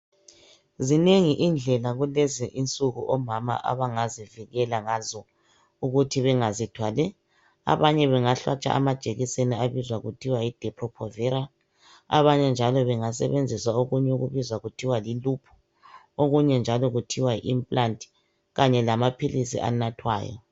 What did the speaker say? Zinengi indlela kulezinsuku omama abangazivikela ngazo ukuthi bengazithwali. Abanye bangahlatshwa amajekiseni abizwa ngokuthi yidepho phovera abanye njalo bengasebenzisa okunye okubizwa kuthiwa yiluphu okunye njalo kuthiwa yi inimpulanti kanye lamaphilizi enathwayo.